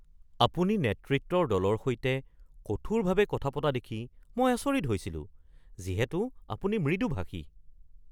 আপুনি নেতৃত্বৰ দলৰ সৈতে কঠোৰভাৱে কথা পতা দেখি মই আচৰিত হৈছিলো যিহেতু আপুনি মৃদুভাষী।